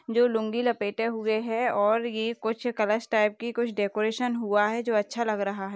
जो लुंगी लपेटे हुए है और ये कुछ कलश टाइप की कुछ डेकोरेशन हुआ है जो अच्छा लग रहा है।